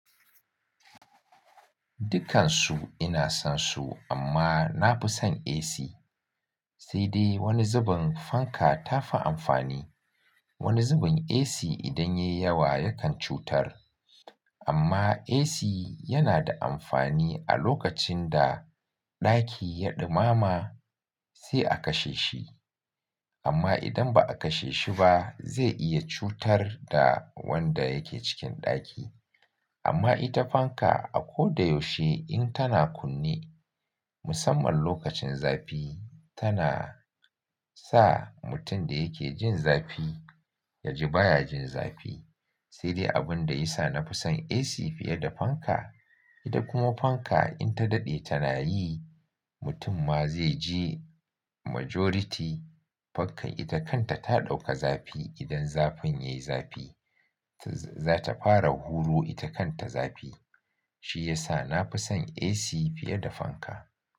Dukansu ina son su amma na fi son AC. Sai dai wani zubin fanka ta fi amfani. Wani zubin AC idan yayi yawa yakan cutar. Amma AC yana da amfani a lokacin da ɗaki ya ɗumama sai a kashe shi. Amma idan ba a kashe shi ba zai iya cutar da wanda yake cikin ɗaki. Amma ita fanka a ko da yaushe in tana kunne, musamman lokacin zafi tana sa mutum da yake jin zafi ya ji baya jin zafi. Sai dai abun da ya sa na fi son AC fiye da fanka, ita kuma fanka in ta daɗe tana yi mutum ma zai ji. Majority fankan ita kanta ta ɗauka zafi idan zafin yayi zafi. Zata fara huru ita kanta zafi. Shi ya sa na fi son AC fiye da fanka.